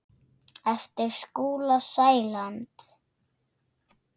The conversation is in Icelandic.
eftir Skúla Sæland.